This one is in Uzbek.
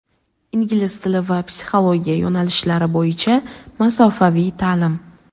Ingliz tili va psixologiya yo‘nalishlari bo‘yicha masofaviy ta’lim!.